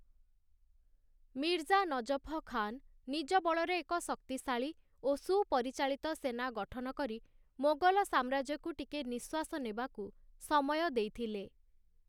ମିର୍ଜା ନଜଫ ଖାନ, ନିଜ ବଳରେ ଏକ ଶକ୍ତିଶାଳୀ ଓ ସୁପରିଚାଳିତ ସେନା ଗଠନ କରି ମୋଗଲ ସାମ୍ରାଜ୍ୟକୁ ଟିକେ ନିଶ୍ୱାସ ନେବାକୁ ସମୟ ଦେଇଥିଲେ ।